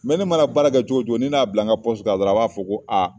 ne mana baara kɛ cogo o cogo ni ne y'a bila n ka dɔrɔnɔ a b'a fɔ ko